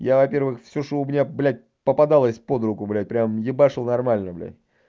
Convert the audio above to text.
я во-первых всё что у меня блядь попадалось под руку блядь прямо ебашил нормально блядь